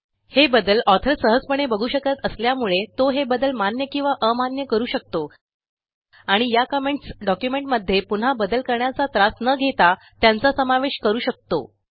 हे बदल ऑथर सहजपणे बघू शकत असल्यामुळे तो हे बदल मान्य किंवा अमान्य करू शकतो आणि या कमेंट्स डॉक्युमेंटमध्ये पुन्हा बदल करण्याचा त्रास न घेता त्यांचा समावेश करू शकतो